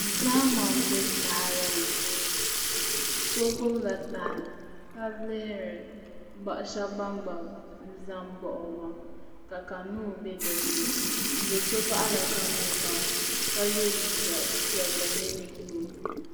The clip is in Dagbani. Zahama n bɛ tahali ni so gbubila tahali ka lihiri ninvuɣu shab ban gba ʒɛ n baɣa o maa ka kanuun bɛ dinni do so baɣala kanuun maa ka yɛ liiga piɛlli mini buluu